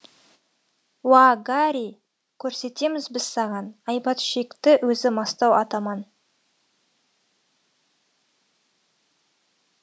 уа гари көрсетеміз біз саған айбат шекті өзі мастау атаман